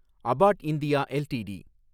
about India LTD